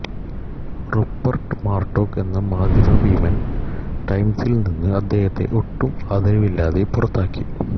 Rupert Murdoch എന്ന മാധ്യമ ഭീമൻ ടൈംസിൽനിന്ന് അദ്ദേഹത്തെ ഒട്ടും ആദരവില്ലാതെ പുറത്താക്കി